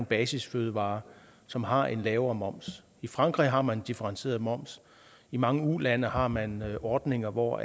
basisfødevarer som har en lavere moms i frankrig har man en differentieret moms i mange ulande har man ordninger hvor